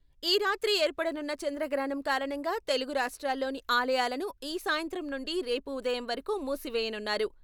ఈ రాత్రి ఏర్పడనున్న చంద్రగ్రహణం కారణంగా తెలుగు రాష్ట్రాల్లోని ఆలయాలను ఈ సాయంత్రం నుండి రేపు ఉదయం వరకు మూసివేయనున్నారు.